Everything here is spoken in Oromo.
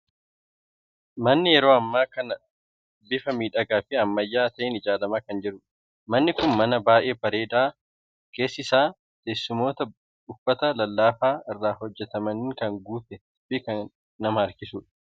Manni yeroo ammaa kana bifa miidhagaa fi ammayyaa ta'een ijaaramaa kan jirudha! Manni kun mana baay'ee bareedaa keessi isaa teessumoota uffata lallaafaa irraa hojjetamaniin kan guutee fi kan nama harkisudha!